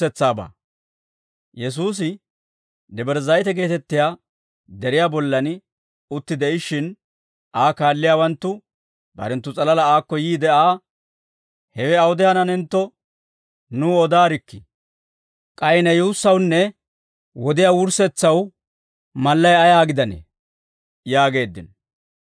Yesuusi Debre Zayite geetettiyaa deriyaa bollan utti de'ishshin, Aa kaalliyaawanttu barenttu s'alalaa aakko yiide Aa, «Hewe awude hananentto, nuw odaarikkii; k'ay ne yuussawunne wodiyaa wurssetsaw mallay ayaa gidanee?» yaageeddino.